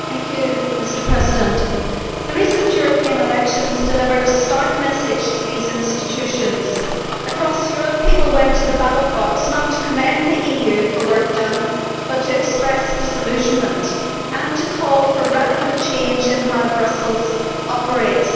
Mr President, the recent European elections delivered a stark message to these institutions across Europe, people went to the ballot box not to commend the EU for work done, but to express disillusionment and to call for radical change in how Brussels operates.